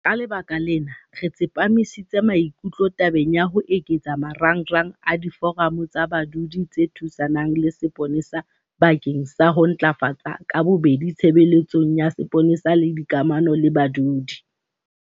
Ka lebaka lena, re tsepamisitse maikutlo tabeng ya ho eketsa marangrang a Diforamo tsa Badudi tse Thusanang le Sepolesa bakeng sa ho ntlafatsa ka bobedi tshebeletso ya sepolesa le dikamano le badudi.